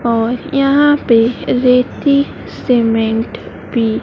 और यहां पे रेती सीमेंट भी--